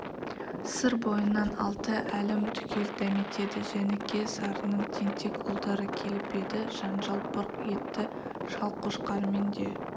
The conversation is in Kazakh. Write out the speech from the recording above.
сыр бойынан алты әлім түгел дәметеді жәніке-сарының тентек ұлдары келіп еді жанжал бұрқ етті шалқошқармен де